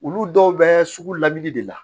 Olu dɔw bɛ sugu la min de la